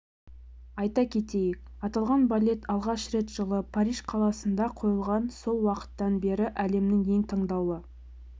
айта кетейік аталған балет алғаш рет жылы париж қаласында қойылған сол уақыттан бері әлемнің ең таңдаулы